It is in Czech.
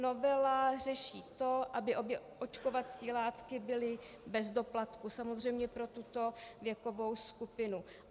Novela řeší to, aby obě očkovací látky byly bez doplatku, samozřejmě pro tuto věkovou skupinu.